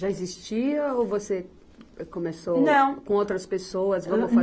Já existia ou você começou. Não. Com outras pessoas?